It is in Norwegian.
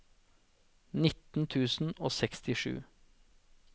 nitten tusen og sekstisju